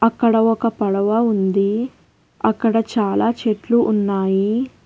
అక్కడ ఒక పడవ ఉంది. అక్కడ చాలా చెట్లు ఉన్నాయి.